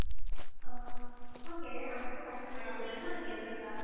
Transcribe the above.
অ' মই কেইদিন আগতো কাতিছিলো মানে হা কেইজন বাৰ ও